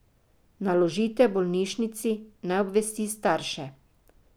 Naložite bolnišnici, naj obvesti starše.